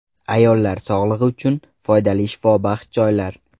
Ayollar sog‘lig‘i uchun foydali shifobaxsh choylar.